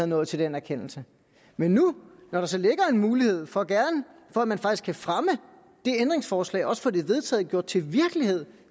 nået til den erkendelse men nu når der så ligger en mulighed for at man faktisk kan fremme det ændringsforslag og få det vedtaget gjort til virkelighed